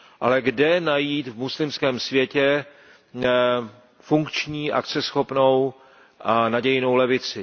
Ale kde najít v muslimském světě funkční, akceschopnou a nadějnou levici?